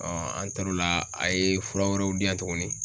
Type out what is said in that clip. an taar'o la a ye fura wɛrɛw di yan tuguni